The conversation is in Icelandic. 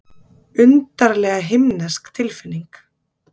Undarlega himnesk tilfinning.